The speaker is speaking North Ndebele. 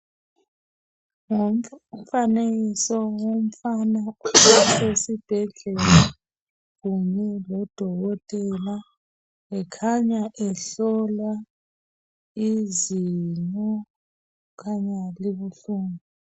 Ngumfanekiso womfana esibhedlela kanye loDokotela ekhanya ehlolwa izinyo elibuhlungu.